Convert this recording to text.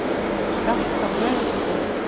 Skattar á launatekjur